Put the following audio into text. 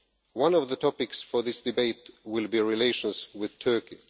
One of the topics for this debate will be relations with Turkey.